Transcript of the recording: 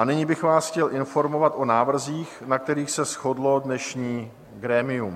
A nyní bych vás chtěl informovat o návrzích, na kterých se shodlo dnešní grémium.